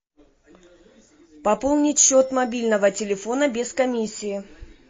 пополнить счет мобильного телефона без комиссии